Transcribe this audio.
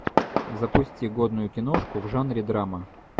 запусти годную киношку в жанре драма